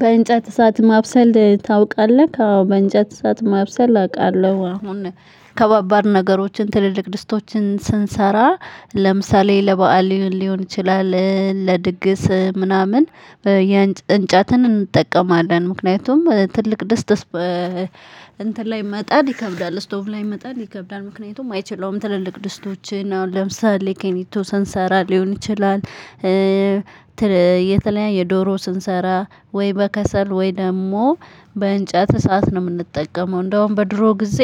በእንጨት እሳት ማብሰል ታውቃለክ አዎ በእንጨት እሳት ማብሰል አውቃለሁ አሁን ከባባድ ነገሮችን ትልልቅ ድስቶችን ስንሰራ ለምሳሌ ለበአል ሊሆን ይችላል ለድግስ ምናምን። እንጨትን እንጠቀማለን ምክንያቱም ትልቅ ደስ ደስ እንትን ላይ መጣድ ይከብዳል ስቶቭ ላይ መጣድ ይከብዳል። ምክንያቱም አይችለውም ትልልቅ ደስቶችን አሁን ለምሳሌ ኪኒቶ ሰንሰራ ሊሆን ይችላል። የተለያየ ዶሮ ስንሰራ ወይ በከሰል ወይ ደግሞ በእንጨት እሳት ነው የምንጠቀመው። እንደውም በድሮ ጊዜ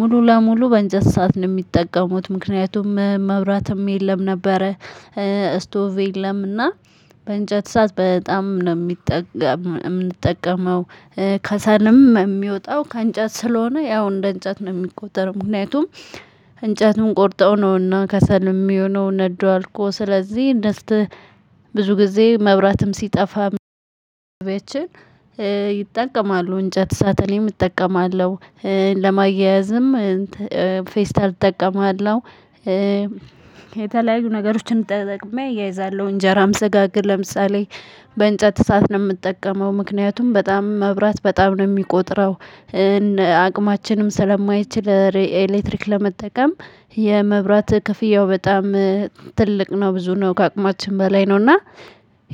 ሙሉ ለሙሉ በእንጨት ሳት ነው የሚጠቀሙት ምክንያቱም መብራትም የለም ነበረ። ስቶቭ የለምና በእንጨት ሳት በጣም ነው ሚጠቀም የምንጠቀመው። ከሰልም የሚወጣው ከእንጨት ስለሆነ ያው እንደ እንጨት ነው የሚቆጠረው። ምክንያቱም እንጨትም ቆርጠው ነውና ከሰልም የሚሆነው ነዶ አልቆ ስለዚህ ድስት። ብዙ ጊዜ መብራትም ሲጠፋ ቤችን ይጠቀማሉ እንጨት ሳት እኔም እጠቀማለሁ። ለማያያዝም ፌስታል እጠቀማለሁ። የተለያዩ ነገሮችን ተጠቅሜ አያይዛለሁ እንጀራም ስጋግር ለምሳሌ በእንጨት እሳት ነው የምጠቀመው ምክንያቱም በጣም መብራት በጣም ነው የሚቆጥረው። አቅማችንም ስለማይችል ኤሌክትሪክ ለመጠቀም የመብራት ክፍያው በጣም ትልቅ ነው ብዙ ነው ከአቅማችን በላይ ነው። እና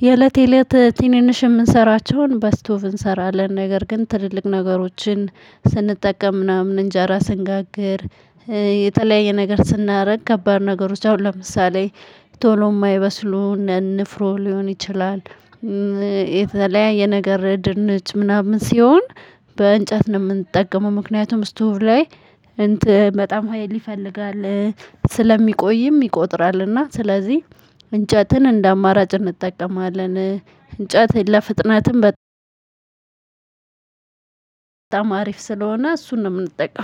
የእለት የእለት ትንንሽ የምንሰራቸውን በስቶቭ እንሰራለን ነገር ግን ትልልቅ ነገሮችን ስንጠቀም ምናምን እንጀራ ስንጋግር የተለያየ ነገር ስናደርግ ከባድ ነገሮች አሁን ለምሳሌ ቶሎ የማይበስሉ እነ ንፍሮ ሊሆን ይችላል። የተለያየ ነገር ድንች ምናምን ሲሆን በእንጨት ነው የምንጠቀመው ምክንያቱም ስቶቭ ላይ እንት በጣም ሀይል ይፈልጋል ስለሚቆይም ይቆጥራልና ስለዚህ እንጨትን እንደ አማራጭ እንጠቀማለን። እንጨት ለፍጥነትም በ አሪፍ ስለሆነ እሱን ነው የምንጠቀም